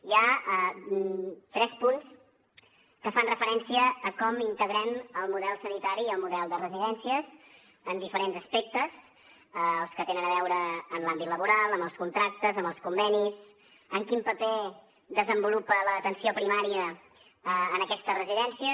hi ha tres punts que fan referència a com integrem el model sanitari i el model de residències en diferents aspectes els que tenen a veure amb l’àmbit laboral amb els contractes amb els convenis amb quin paper desenvolupa l’atenció primària en aquestes residències